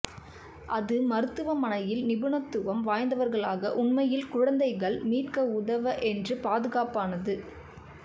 அது மருத்துவமனையில் நிபுணத்துவம் வாய்ந்தவர்களாக உண்மையில் குழந்தைகள் மீட்க உதவ என்று பாதுகாப்பானது